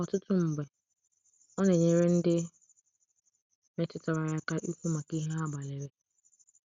Ọtụtụ mgbe, ọ na-enyere ndị metụtara ya aka ikwu maka ihe ha gbalịrị.